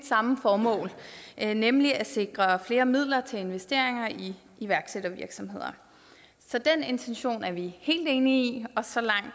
samme formål nemlig at sikre flere midler til investeringer i iværksættervirksomheder så den intention er vi helt enige i og så langt